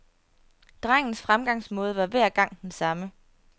Drengens fremgangsmåde var hver gang den samme.